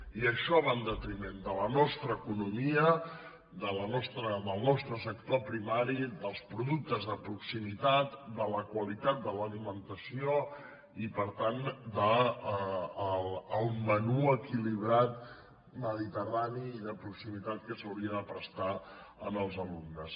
i això va en detriment de la nostra economia del nostre sector primari dels productes de proximitat de la qualitat de l’alimenta·ció i per tant del menú equilibrat mediterrani de proximitat que s’hauria de prestar als alumnes